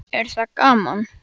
Lillý: Er það gaman?